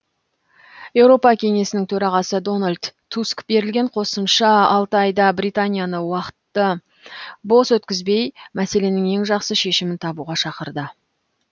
еуропа кеңесінің төрағасы дональд туск берілген қосымша алты айда британияны уақытты бос өткізбей мәселенің ең жақсы шешімін табуға шақырды